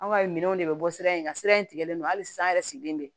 Anw ka minɛnw de bɛ bɔ sira in na sira in tigɛlen don hali sisan an yɛrɛ sigilen bɛ